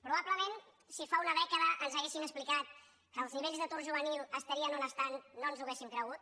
probablement si fa una dècada ens haguessin explicat que els nivells d’atur juvenil estarien on estan no ens ho hauríem cregut